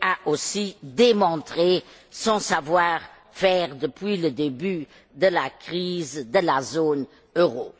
a aussi démontré son savoir faire depuis le début de la crise de la zone euro.